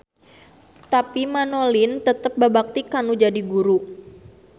Tapi Manolin tetep babakti kanu jadi guru.